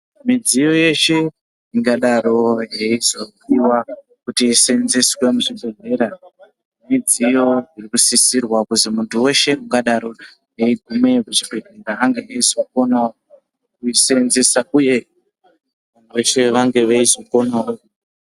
Midziyo yeshe ingadaro yeizopiwa kuti iseenzeswe muzvibhedlera midziyo iri kusisirwa kuti muntu weshe ungadaro eigumeyo kuchibhedlera kuti ange eizokonawo kuiseenzesa uye veshe vange veizokonawo .